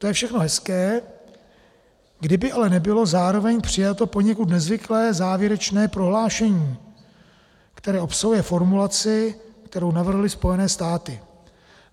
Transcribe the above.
To je všechno hezké, kdyby ale nebylo zároveň přijato poněkud nezvyklé závěrečné prohlášení, které obsahuje formulaci, kterou navrhly Spojené státy.